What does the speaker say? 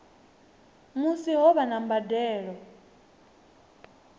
musi ho vha na mbadelo